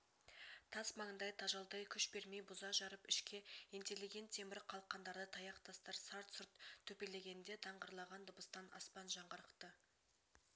тас маңдай тажалдай күш бермей бұза-жарып ішке ентелеген темір қалқандарды таяқ-тастар сарт-сұрт төпелегенде даңғырлаған дыбыстан аспан жаңғырықты